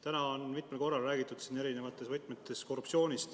Täna on siin mitmel korral ja eri võtmes räägitud korruptsioonist.